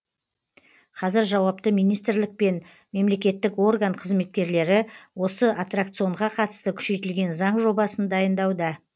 қазір жауапты министрлік пен мемлекеттік орган қызметкерлері осы аттракционға қатысты күшейтілген заң жобасын дайындауда